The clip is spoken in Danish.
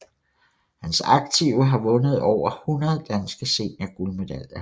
Hans aktive har vundet over 100 danske seniorguldmedaljer